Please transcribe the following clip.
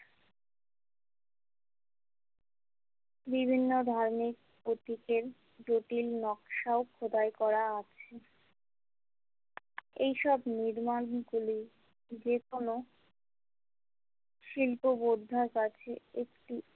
বিভিন্ন ধার্মিক প্রতীকের জটিল নকশাও খোদাই করা আছে এইসব নির্মাণ গুলি যেকোনো শিল্প বোদ্ধার কাছে একটি।